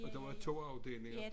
Og der var 2 afdelinger